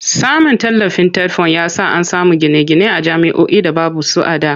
Samun tallafin TETFUND ya sa an samu gine-gine a jami'oi da baby su a da.